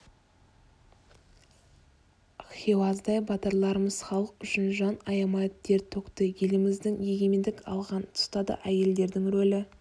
хиуаздай батырларымыз халық үшін жан аямай тер төкті еліміз егемендік алған тұста да әйелдердің рөлі